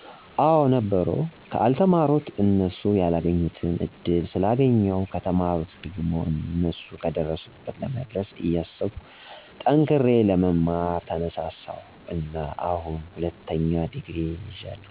አወ ነበሩ። ከአልተማሩት እነሱ ያላገኙትን እድል ስላገኜሁ፣ ከተማሩት ደሞ እነሱ ከደረሱበት ለመድረስ እያሰብኩ ጠንክሬ ለመማር ተነሳሳሁ እና አሁን ሁለተኛ ዲግሪ ይጃለሁ።